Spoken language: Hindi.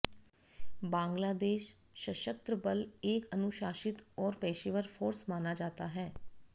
बांग्लादेश सशस्त्र बल एक अनुशासित और पेशेवर फोर्स माना जाता है